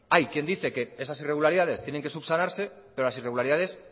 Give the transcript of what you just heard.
hay quien dice que esas irregularidades tienen que subsanarse pero las irregularidad